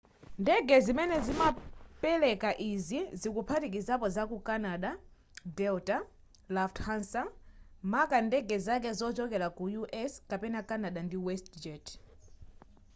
ndege zimene zimapeleka izi zikuphatikizapo za ku canada delta lufthansa maka ndege zake zochokera ku u.s. kapena canada ndi westjet